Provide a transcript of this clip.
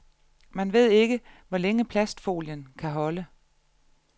Man ved ikke, hvor længe plastfolien kan holde.